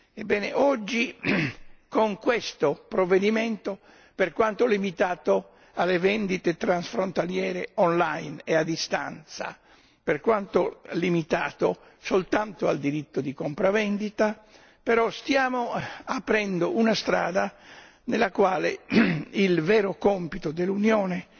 Ebbene, oggi con questo provvedimento, per quanto limitato alle vendite transfrontaliere online e a distanza, per quanto limitato soltanto al diritto di compravendita, stiamo però aprendo una strada nella quale il vero compito dell'Unione